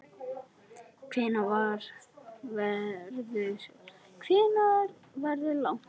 Hvenær verður lagt upp?